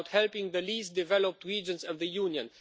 It is about helping the least developed regions of the Union.